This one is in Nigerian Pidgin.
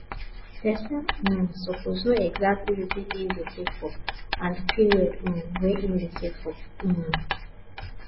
person um suppose know exactly wetin him de save for and the period um wey him de save for um